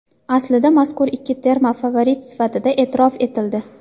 Aslida mazkur ikki terma favorit sifatida e’tirof etildi.